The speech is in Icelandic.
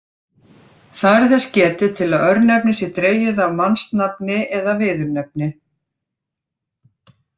Þar er þess getið til að örnefnið sé dregið af mannsnafni eða viðurnefni.